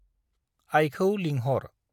आइखौ लिंहर।